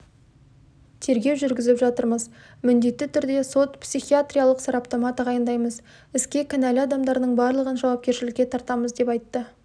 тергеу жүргізіп жатырмыз міндетті түрде сот-психиатриялық сараптама тағайындаймыз іске кінәлі адамдардың барлығын жауапкершілікке тартамыз деп айтты